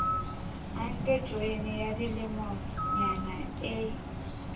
anke joyene ya dilemonyana e